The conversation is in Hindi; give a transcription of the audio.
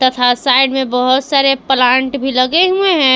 तथा साइड में बहुत सारे प्लांट भी लगे हुए हैं।